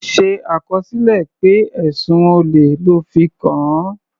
Ṣe àkọsílẹ̀ pé ẹ̀sùn olè lọ́ fi kàn án.